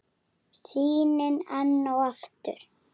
Sýnin enn og aftur.